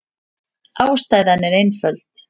Ástæðan er einföld.